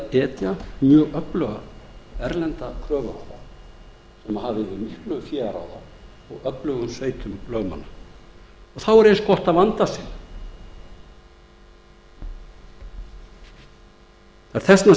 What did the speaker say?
etja mjög öfluga erlenda kröfuhafa sem hafa yfir miklu fé að ráða og öflugum sveitum lögmanna og þá er eins gott að vanda sig þess vegna